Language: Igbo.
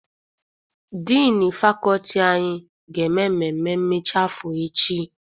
Diini fakọọti anyị ga-eme mmemme mmechi afọ echi.